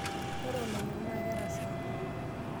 Ore olonyok naa kerasaa.